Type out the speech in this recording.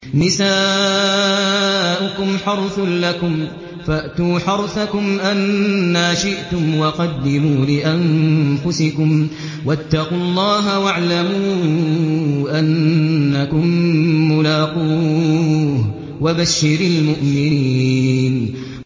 نِسَاؤُكُمْ حَرْثٌ لَّكُمْ فَأْتُوا حَرْثَكُمْ أَنَّىٰ شِئْتُمْ ۖ وَقَدِّمُوا لِأَنفُسِكُمْ ۚ وَاتَّقُوا اللَّهَ وَاعْلَمُوا أَنَّكُم مُّلَاقُوهُ ۗ وَبَشِّرِ الْمُؤْمِنِينَ